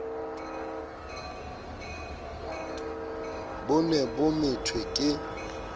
bo ne bo methwe ke